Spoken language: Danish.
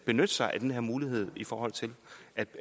benytte sig af den her mulighed i forhold til